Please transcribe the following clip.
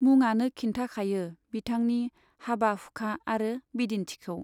मुङानो खिन्थाखायो बिथांनि हाबा हुखा आरो बिदिन्थिखौ।